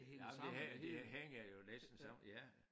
Nej men det det hænger jo næsten sammen ja